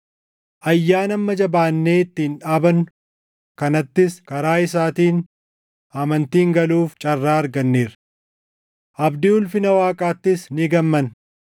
Ayyaana amma jabaannee ittiin dhaabannu kanattis karaa isaatiin amantiin galuuf carraa arganneerra. Abdii ulfina Waaqaattis ni gammanna.